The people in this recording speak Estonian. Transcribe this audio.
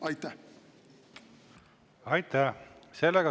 Aitäh!